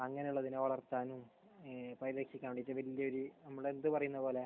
അങ്ങനെയുള്ളതിനെ വളർത്താൻ. ഏഹ് അപ്പോൾ അതിനെ രക്ഷിക്കാൻ വേണ്ടിയിട്ട് വലിയ ഒരു നമ്മുടെ ഇത് പറയുന്നത് പോലെ